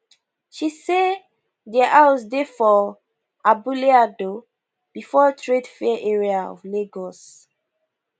she say dia house dey for abule ado before trade fair area of of lagos